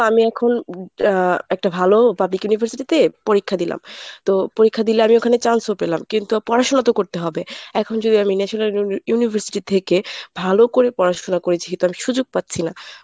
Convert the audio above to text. আমি এখন একটা ভালো public university তে পরীক্ষা দিলাম। তো পরীক্ষা দিলে আমি ওখানে chance ও পেলাম, কিন্তু পড়াশোনা তো করতে হবে, এখন যদি আমি national university থেকে ভালো করে পড়াশুনা করেছি কিন্তু আমি সুযোগ পাচ্ছি না।